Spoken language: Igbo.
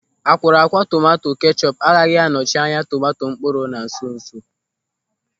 Akwọrọakwọ tomanto kechọpu agaghị anọchị anya tomanto mkpụrụ na nso nso.